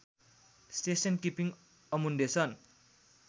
station keeping Amundsen